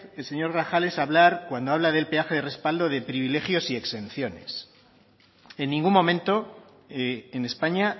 señor grajales hablar cuando habla de peaje de respaldo de privilegios y exenciones en ningún momento en españa